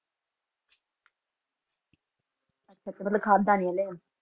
ਅੱਛਾ ਖਾਯਾ ਨੇ ਹਨ